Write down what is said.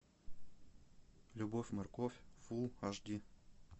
любовь морковь фулл аш ди